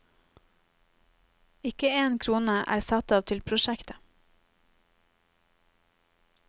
Ikke én krone er satt av til prosjektet.